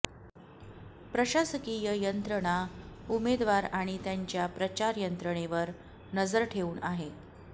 प्रशासकीय यंत्रणा उमेदवार आणि त्यांच्या प्रचार यंत्रणेवर नजर ठेवून आहे